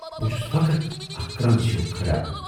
بہ چھَس فقط اکھ کرنز ہیوٗ کھڑا۔